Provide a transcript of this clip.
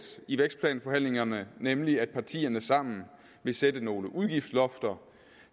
i vækstplanforhandlingerne nemlig at partierne sammen vil sætte nogle udgiftslofter